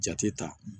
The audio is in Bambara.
Jate ta